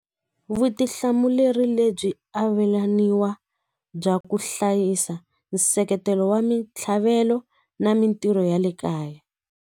Vutihlamuleri lebyi avelaniwa bya ku hlayisa nseketelo wa mitlhavelo na mitirho ya le kaya.